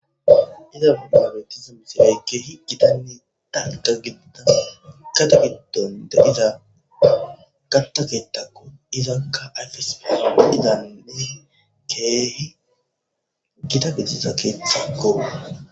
Iza mabetizmisi eegge hi gitanni danga gidinas kata gidonte iza gantakeettakko izakka ayfesfesa izane keehi gita gesisa keeththakko.